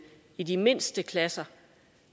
i de mindste klasser